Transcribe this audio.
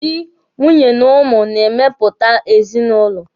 Dị, nwunye na ụmụ na-emepụta ezinụlọ.